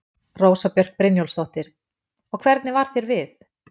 Rósa Björk Brynjólfsdóttir: Og hvernig varð þér við?